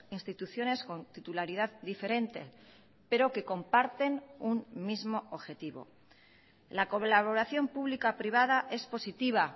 instituciones con titularidad diferente pero que comparten un mismo objetivo la colaboración pública privada es positiva